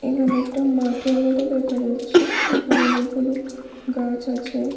এখানে একটা মাঠের মতো দেখা যাচ্ছে এখানে অনেকগুলো গাছ আছে।